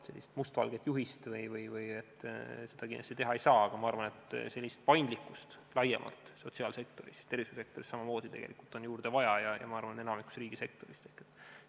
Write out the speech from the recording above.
Sellist mustvalget juhist kindlasti teha ei saa, aga ma arvan, et paindlikkust laiemalt sotsiaalsektoris ja tervishoiusektoris on samamoodi juurde vaja – ma arvan, et enamikus valdkondadest riigisektoris.